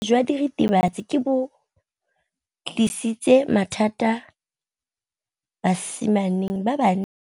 Botshelo jwa diritibatsi ke bo tlisitse mathata mo basimaneng ba bantsi.